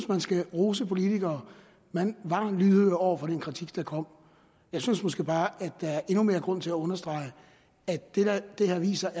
man skal rose politikere at man var lydhør over for den kritik der kom jeg synes måske bare at der er endnu mere grund til at understrege at det her viser